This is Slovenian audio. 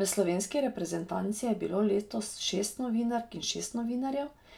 V slovenski reprezentanci je bilo letos šest novinark in šest novinarjev,